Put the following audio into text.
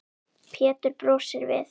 Pétur brosir við.